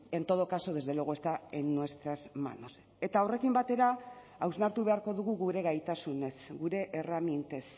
en todo caso desde luego está en nuestras manos eta horrekin batera hausnartu beharko dugu gure gaitasunez gure erremintez